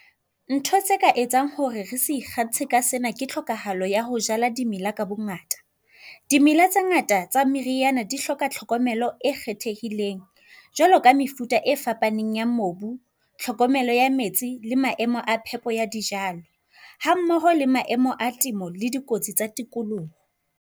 Ntho tse ka etsang hore re se ikgantshe ka sena ke tlhokahalo ya ho jala di mela ka bongata. Dimela tse ngata tsa meriyana di hloka tlhokomelo e kgethehileng jwalo ka mefuta e fapaneng ya mobu, tlhokomelo ya metsi le maemo a phepo ya dijalo ha mmoho le maemo a temo le dikotsi tsa tikoloho.